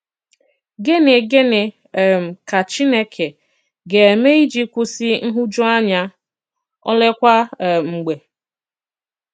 Gịnị Gịnị um ka Chìnékè ga-eme iji kwụsị nhụjuanya, oleekwa um mg̀bè?